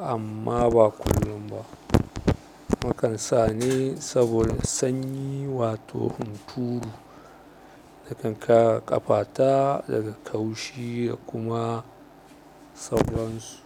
amma ba kullum ba. Nakan sa ne saboda sanyi wato hunturu da kan kare ƙafa ta daga ƙaushi da kuma sauran su.